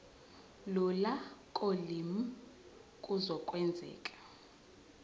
lula kolimi kuzokwenzeka